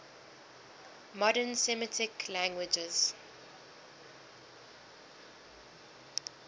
modern semitic languages